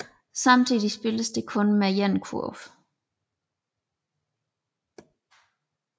Samtidigt spilles der kun med én kurv